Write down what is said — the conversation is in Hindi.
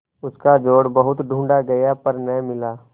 उसका जोड़ बहुत ढूँढ़ा गया पर न मिला